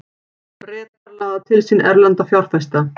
Bretar laða til sín erlenda fjárfesta